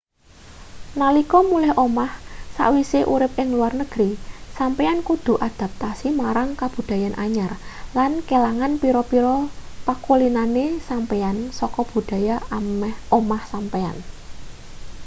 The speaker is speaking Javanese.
nalika mulih omah sawise urip ing luar negri sampeyan kudu adaptasi marang kabudayan anyar lan kelangan pira-pira pakulinane sampeyan saka budaya omah sampeyan